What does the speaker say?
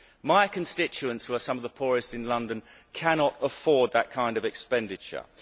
My constituents, who are some of the poorest in London, cannot afford that kind of expenditure.